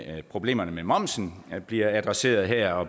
at problemerne med momsen bliver adresseret her og